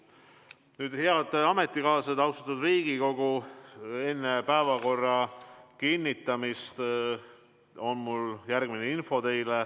Nüüd, head ametikaaslased, austatud Riigikogu, enne päevakorra kinnitamist on mul teile järgmine info.